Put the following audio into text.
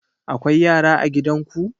Akwai yara a gidan ku?